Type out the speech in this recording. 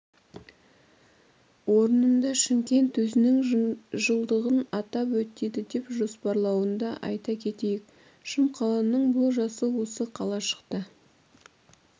орнында шымкент өзінің жылдығын атап өтеді деп жоспарлануда айта кетейік шымқаланың бұл жасы осы қалашықта